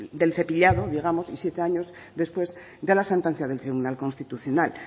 del cepillado digamos y siete años después de la sentencia del tribunal constitucional